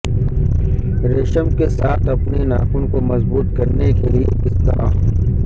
ریشم کے ساتھ اپنے ناخن کو مضبوط کرنے کے لئے کس طرح